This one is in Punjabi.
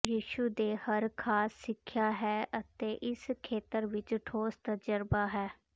ਯਿਸੂ ਦੇ ਹਰ ਖਾਸ ਸਿੱਖਿਆ ਹੈ ਅਤੇ ਇਸ ਖੇਤਰ ਵਿੱਚ ਠੋਸ ਤਜਰਬਾ ਹੈ